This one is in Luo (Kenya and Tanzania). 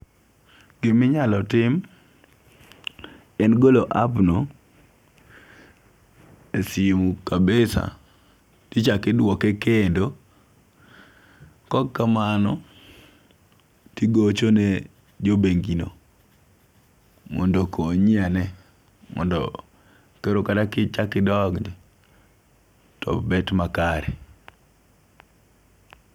Giminyalo tim en golo app no e simu kabisa tichaki duoke kendo kokamano tigocho ne jobengi no mondo okonyi ane mondo koro kata kichak idok to bet makare.